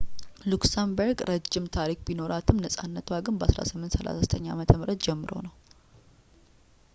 ሉክሰምበርግ ረጅም ታሪክ ቢኖራትም ነፃነቷ ግን ከ 1839 ዓ.ም ጀምሮ ነው